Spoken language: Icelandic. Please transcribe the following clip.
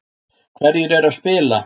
Hverjir eru að spila